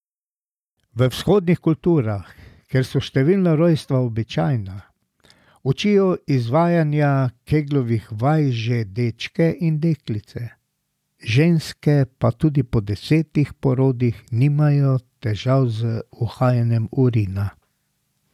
V vzhodnih kulturah, kjer so številna rojstva običajna, učijo izvajanja keglovih vaj že dečke in deklice, ženske pa tudi po desetih porodih nimajo težav z uhajanjem urina.